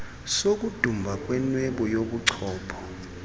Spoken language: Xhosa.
sokudumba kwenwebu yobuchopho